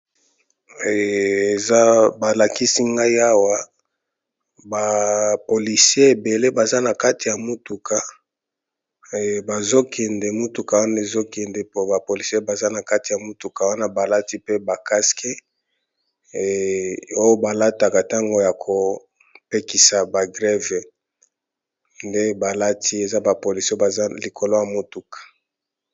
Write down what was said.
Eeh eza balakisi ngai awa ba policier ebele baza nakati ya mutuka, eeh bazokende motuka wana ezokende po ba policer baza na kati ya motuka wana balati pe ba casque oyo balataka na tango ya kopekisa ba grèves nde balati eza ba policier oyo baza likolo ya motuka.